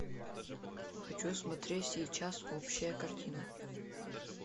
хочу смотреть сейчас общая картина